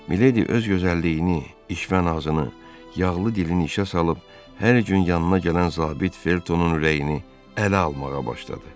Miledi öz gözəlliyini, işvə nazını, yağlı dilini işə salıb hər gün yanına gələn zabit Feltonun ürəyini ələ almağa başladı.